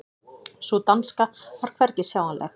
Sú danska var hvergi sjáanleg.